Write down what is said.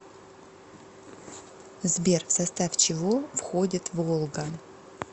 сбер в состав чего входит волга